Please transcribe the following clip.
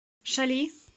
шали